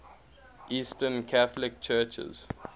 eastern catholic churches